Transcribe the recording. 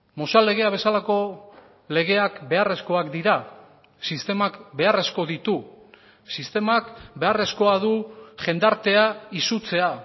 mozal legea bezalako legeak beharrezkoak dira sistemak beharrezko ditu sistemak beharrezkoa du jendartea izutzea